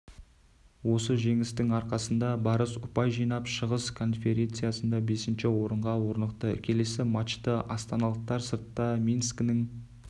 осы жеңістің арқасында барыс ұпай жинап шығыс конференцияда бесінші орынға орнықты келесі матчты астаналықтар сыртта минскінің